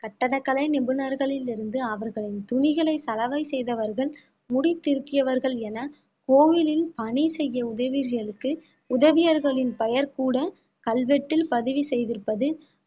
கட்டடக்கலை நிபுணர்களில் இருந்து அவர்களின் துணிகளை சலவை செய்தவர்கள் முடி திருத்தியவர்கள் என கோவிலில் பணி செய்ய உதவியர்களின் பெயர் கூட கல்வெட்டில் பதிவு செய்திருப்பது